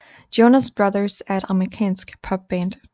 Jonas Brothers er et amerikansk popband